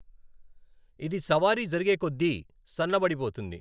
ఇది సవారి జరిగే కొద్దీ సన్న బడిపోతుంది .